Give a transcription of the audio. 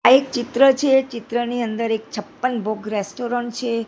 આ એક ચિત્ર છે ચિત્રની અંદર એક છપ્પન ભોગ રેસ્ટોરન્ટ છે.